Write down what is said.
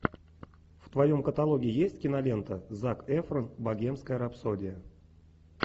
в твоем каталоге есть кинолента зак эфрон богемская рапсодия